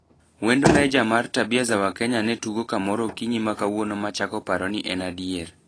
"Wend Mejja mar Tabia za wakenya netugo kamoro okinyi makawuono machako paro ni en adier.